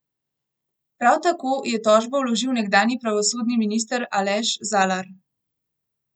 Prav tako je tožbo vložil nekdanji pravosodni minister Aleš Zalar.